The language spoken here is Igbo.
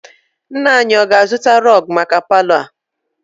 Nna anyi, ọ ga-azụta rọg maka palọ a?